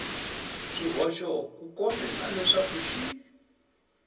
swihoxo ku kombisa leswaku xi